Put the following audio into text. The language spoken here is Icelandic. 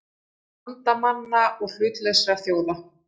Bandamanna og hlutlausra þjóða.